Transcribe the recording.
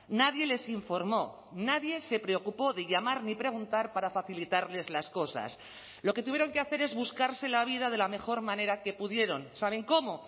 nadie les informo nadie se preocupó de llamar ni preguntar para facilitarles las cosas lo que tuvieron que hacer es buscarse la vida de la mejor manera que pudieron saben cómo